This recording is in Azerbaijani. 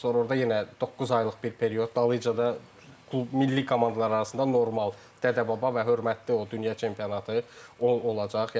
Sonra orda yenə doqquz aylıq bir period dalıyca da milli komandalar arasında normal Dədəbaba və hörmətli o dünya çempionatı olacaq.